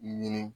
Ɲini